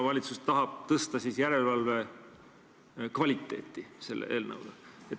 Valitsus tahab järelevalve kvaliteeti selle eelnõuga tõsta.